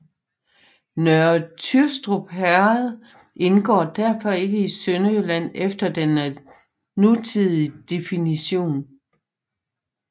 Nørre Tyrstrup Herred indgår derfor ikke i Sønderjylland efter den nutidige definition